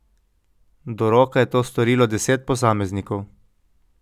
Do roka je to storilo deset posameznikov.